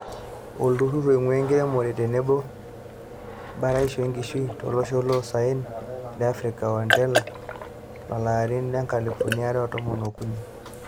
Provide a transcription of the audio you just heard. Olturur oinguraa enkiremore tenebo baraisho enkishui tolosho loloosaen le Afrika aa HORTINLEA lolari loonkalifuni are o tomon ookuni.